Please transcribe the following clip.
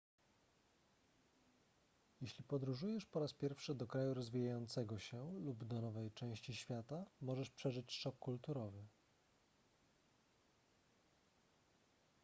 jeśli podróżujesz po raz pierwszy do kraju rozwijającego się lub do nowej części świata możesz przeżyć szok kulturowy